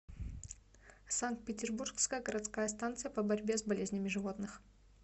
санкт петербургская городская станция по борьбе с болезнями животных